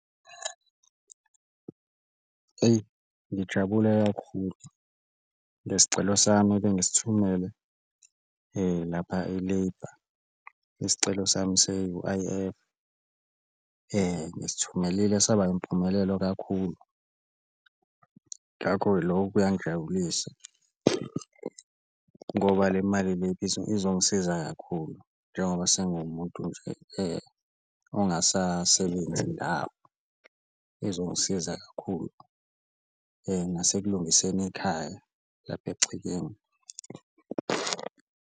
Eyi ngijabule kakhulu ngesicelo sami ebengisithumele lapha e-Labour isicelo sami se-U_I_F ngisithumelile saba impumelelo kakhulu ngakho-ke, loko kuyangijabulisa ngoba le mali le izongisiza kakhulu njengoba sengiwumuntu nje ongasasebenzi ndawo, izongisiza kakhulu. Nasekulungiseni ikhaya lapha egcekeni.